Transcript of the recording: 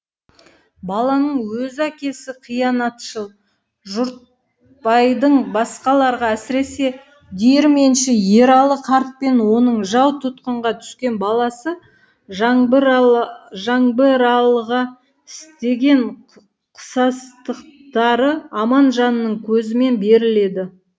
баланың өз әкесі қиянатшыл жұртбайдың басқаларға әсіресе диірменші ералы қартпен оның жау тұтқынға түскен баласы жаңбыралыға істеген қысастықтары аманжанның көзімен беріледі